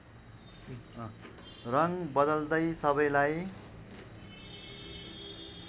रङ बदल्दै सबैलाई